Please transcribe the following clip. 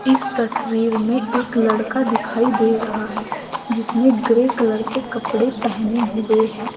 इस तस्वीर में एक लड़का दिखाई दे रहा है जिसने ग्रे कलर के कपड़े पहने हुए हैं।